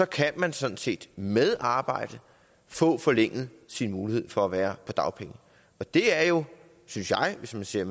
kan man sådan set med arbejde få forlænget sin mulighed for at være på dagpenge det er jo synes jeg hvis man ser